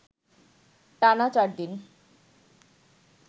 টানা চারদিন